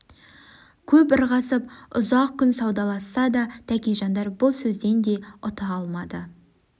көп ырғасып үзақ күн саудаласса да тәкежандар бұл сөзден де үта алмады